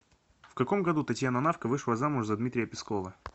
в каком году татьяна навка вышла замуж за дмитрия пескова